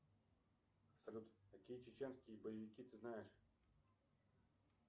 салют какие чеченские боевики ты знаешь